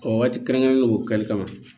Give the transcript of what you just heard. Ɔ waati kɛrɛnkɛrɛnnen do kɛli kama